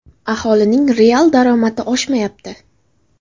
Aholining real daromadi oshmayapti.